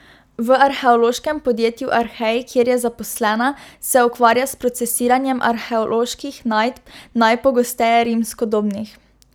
V arheološkem podjetju Arhej, kjer je zaposlena, se ukvarja s procesiranjem arheoloških najdb, najpogosteje rimskodobnih.